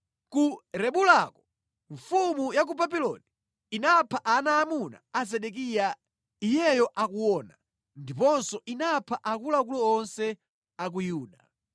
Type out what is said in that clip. Ku Ribulako mfumu ya ku Babuloni inapha ana aamuna a Zedekiya iyeyo akuona; ndiponso inapha akuluakulu onse a ku Yuda.